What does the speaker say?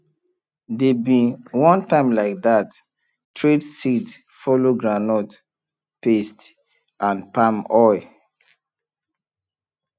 dey bin one time like that trade seed follow groundnut paste and palm oil